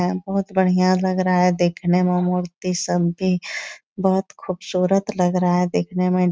है बहुत बढियाँ लग रहा है देखने में मूर्ति सब भी बहुत खूबसूरत लग रहा है देखने में --